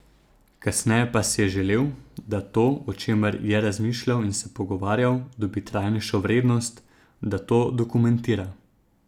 Kasneje pa si je želel, da to, o čemer je razmišljal in se pogovarjal, dobi trajnejšo vrednost, da to dokumentira.